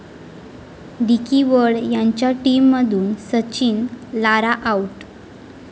dickey Bird यांच्या टीममधून Sachin, Lara 'out'